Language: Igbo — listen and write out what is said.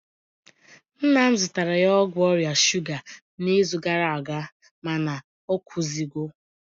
nna m zụtara ya ọgwụ ọrịa shuga n'izu gara aga mana ọ kwụzigo